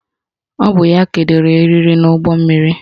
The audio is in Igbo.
Ọ bụ ya kedoro eriri n'ụgbọmmiri